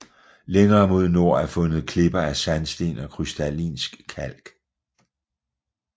Længere mod nord er fundet klipper af sandsten og krystallinsk kalk